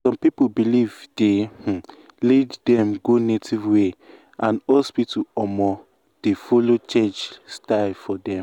some people belief dey um lead dem go native way and hospital um dey follow change style for um dem.